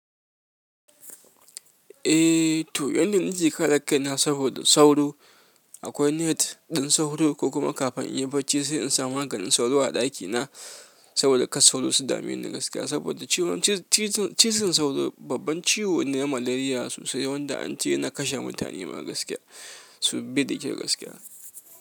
Eh, to yanda nake kare kaina saboda sauro. Akwai net ɗin sauro ko kuma kafin in yi bacci sai in sa maganin sauro a ɗakina saboda kas sauro su dame ni na gaskiya. Saboda ciwon cizon sauro babban ciwo ne na malariya sosai, wanda an ce yana kashe mutane ma dai gaskiya, su bi da ke gaskiya.